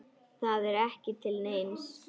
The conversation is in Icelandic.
Það er ekki til neins.